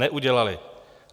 Neudělaly.